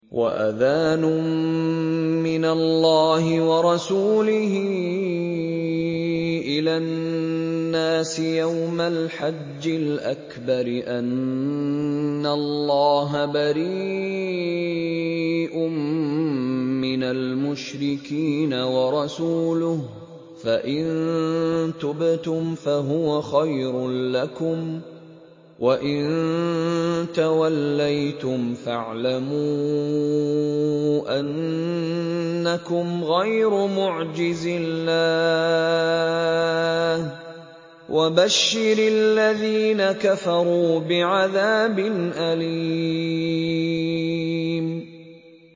وَأَذَانٌ مِّنَ اللَّهِ وَرَسُولِهِ إِلَى النَّاسِ يَوْمَ الْحَجِّ الْأَكْبَرِ أَنَّ اللَّهَ بَرِيءٌ مِّنَ الْمُشْرِكِينَ ۙ وَرَسُولُهُ ۚ فَإِن تُبْتُمْ فَهُوَ خَيْرٌ لَّكُمْ ۖ وَإِن تَوَلَّيْتُمْ فَاعْلَمُوا أَنَّكُمْ غَيْرُ مُعْجِزِي اللَّهِ ۗ وَبَشِّرِ الَّذِينَ كَفَرُوا بِعَذَابٍ أَلِيمٍ